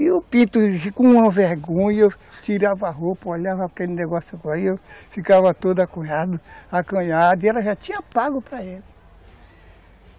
E o pinto, com vergonha, eu tirava a roupa, olhava aquele negócio aí, eu ficava todo ac, acanhado, acanhado, e ela já tinha pago para